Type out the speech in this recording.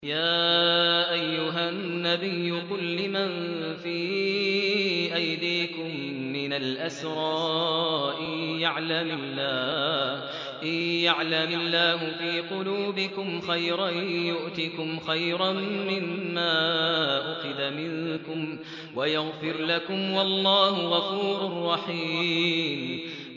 يَا أَيُّهَا النَّبِيُّ قُل لِّمَن فِي أَيْدِيكُم مِّنَ الْأَسْرَىٰ إِن يَعْلَمِ اللَّهُ فِي قُلُوبِكُمْ خَيْرًا يُؤْتِكُمْ خَيْرًا مِّمَّا أُخِذَ مِنكُمْ وَيَغْفِرْ لَكُمْ ۗ وَاللَّهُ غَفُورٌ رَّحِيمٌ